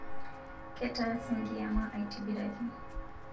Ketaase nkiyama aitibiraki